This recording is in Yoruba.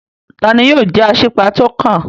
Tani yóò jẹ́ Asípa tó kàn?